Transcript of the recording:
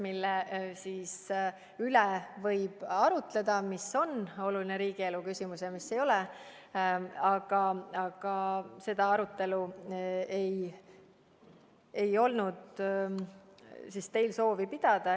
Selle üle võib arutleda, mis on oluline riigielu küsimus ja mis ei ole, aga teil ei olnud soovi seda arutelu pidada.